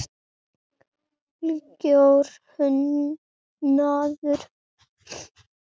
Algjör unaður.